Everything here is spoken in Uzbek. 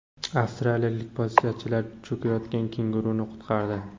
Avstraliyalik politsiyachilar cho‘kayotgan kenguruni qutqardi.